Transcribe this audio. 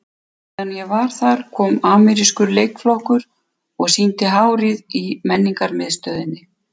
Meðan ég var þar kom amerískur leikflokkur og sýndi Hárið í Menningarmiðstöðinni.